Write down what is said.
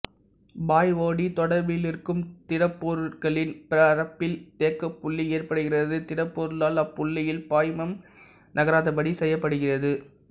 பாய்வோடி தொடர்பிலிருக்கும் திடப்பொருட்களின் பரப்பில் தேக்கப்புள்ளி ஏற்படுகிறது திடப்பொருளால் அப்புள்ளியில் பாய்மம் நகராதபடி செய்யப்படுகிறது